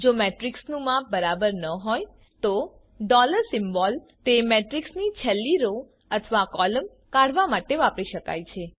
જો મેટ્રિક્સનું માપ ખબર ન હોય તો સિમ્બોલ તે મેટ્રિક્સની છેલ્લી રો અથવા કૉલમ કાઢવા માટે વાપરી શકાય છે